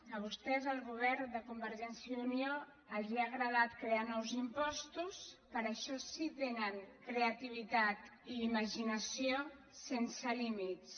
a vostès al govern de convergència i unió els ha agradat crear nous impostos per a això sí que tenen creativitat i imaginació sense límits